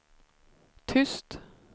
tyst